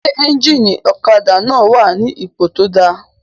Ṣé éjìnì ọ̀kadà náà wà ní ipò tó dáa?